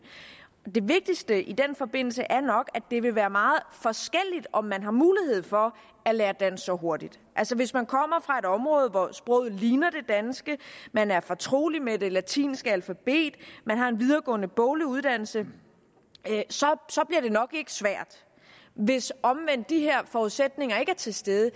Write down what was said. det vigtigste i den forbindelse er nok at det vil være meget forskelligt om man har mulighed for at lære dansk så hurtigt hvis man kommer fra et område hvor sproget ligner det danske man er fortrolig med det latinske alfabet man har en videregående boglig uddannelse så bliver det nok ikke svært hvis omvendt de her forudsætninger ikke er til stede